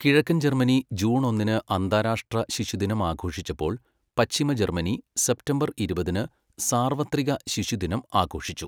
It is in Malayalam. കിഴക്കൻ ജർമ്മനി ജൂൺ ഒന്നിന് അന്താരാഷ്ട്ര ശിശുദിനം ആഘോഷിച്ചപ്പോൾ, പശ്ചിമ ജർമ്മനി സെപ്റ്റംബർ ഇരുപതിന് സാർവത്രിക ശിശുദിനം ആഘോഷിച്ചു.